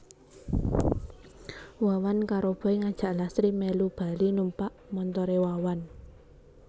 Wawan karo Boy ngajak Lastri mèlu bali numpak montoré Wawan